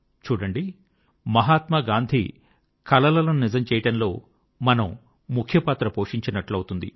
చూడండి మహాత్మా గాంధీ కలలను నిజం చేయడంలో మనము ముఖ్య పాత్ర పోషించినట్లవుతుంది